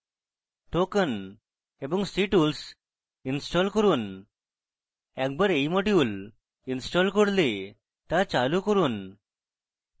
token এবং ctools install করুন একবার এই modules install করলে তা চালু করুন